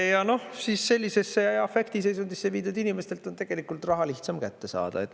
Ja noh, sellisesse afektiseisundisse viidud inimestelt on raha lihtsam saada.